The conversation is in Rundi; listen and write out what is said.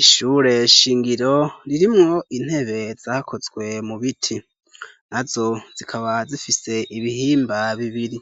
Ishure shingiro ririmwo intebe zakozwe mu biti nazo zikaba zifise ibihimba bibiri,